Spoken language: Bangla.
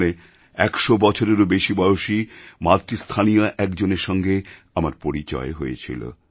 সেখানে ১০০বছরেরও বেশি বয়সীমাতৃস্থানীয়া একজনের সঙ্গে আমার পরিচয় হয়েছিল